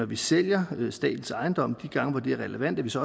vi sælger statens ejendomme de gange hvor det er relevant så